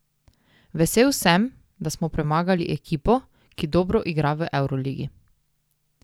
Vesel sem, da smo premagali ekipo, ki dobro igra v evroligi.